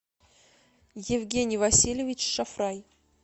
евгений васильевич шафрай